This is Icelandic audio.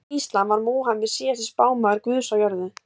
samkvæmt íslam var múhameð síðasti spámaður guðs á jörðu